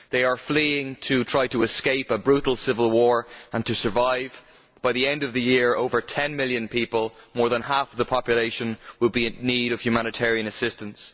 They are fleeing to try to escape a brutal civil war and to survive. By the end of the year over ten million people, more than half the population, will be in need of humanitarian assistance.